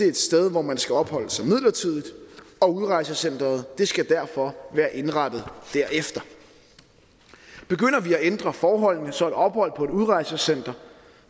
et sted hvor man skal opholde sig midlertidigt og udrejsecenteret skal derfor være indrettet derefter begynder vi at ændre forholdene så et ophold på et udrejsecenter